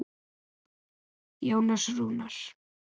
Jónas Rúnar.